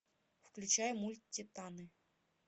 включай мульт титаны